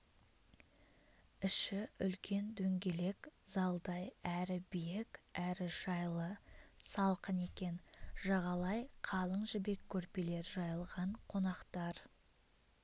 іші үлкен дөңгелек залдай әрі биік әрі жайлы салқын екен жағалай қалың жібек көрпелер жайылған қонақтар